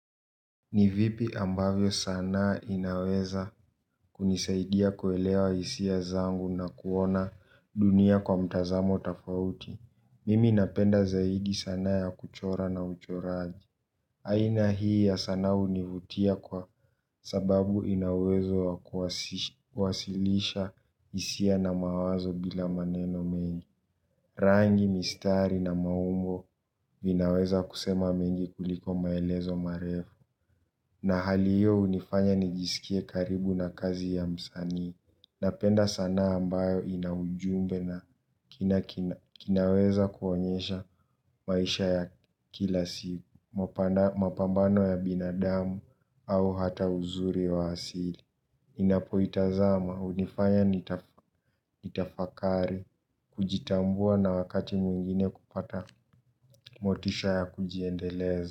Ni vipi ambavyo sanaa inaweza kunisaidia kuelewa hisia zangu na kuona dunia kwa mtazamo tofauti. Mimi napenda zaidi sanaa ya kuchora na uchoraji. Aina hii ya sanaa hunivutia kwa sababu ina uwezo wa kuwasilisha hisia na mawazo bila maneno mengi. Rangi, mistari na maumbo vinaweza kusema mengi kuliko maelezo marefu. Na hali hiyo hunifanya nijisikie karibu na kazi ya msani. Napenda sana ambayo inaujumbe na kinaweza kuonyesha maisha ya kila siku mapambano ya binadamu au hata uzuri wa asili ninapoitazama hunifanya nitafakari. Kujitambua na wakati mwingine kupata motisha ya kujiendeleza.